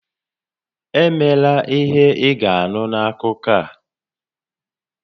Emela ihe ị ga-anụ n'akụkọ a!